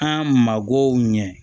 An mago ɲɛ